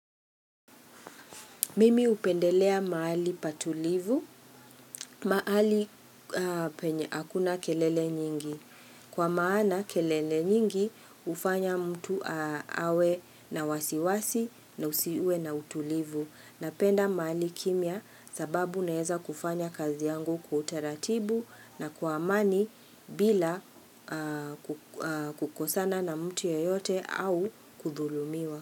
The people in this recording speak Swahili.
Mimi upendelea mahali patulivu maali akuna kelele nyingi kwa maana kelele nyingi ufanya mtu awe na wasiwasi na usiwe na utulivu napenda maali kimya sababu naeza kufanya kazi yangu kwa utaratibu na kwa amani bila kukosana na mtu yoyote au kudhulumiwa.